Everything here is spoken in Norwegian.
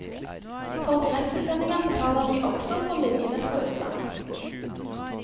For direktesendinger betaler vi også for linjene fra utlandet.